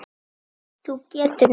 Þú getur nærri.